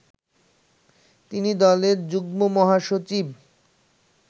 তিনি দলের যুগ্মমহাসচিব